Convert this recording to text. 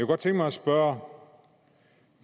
godt tænke mig at spørge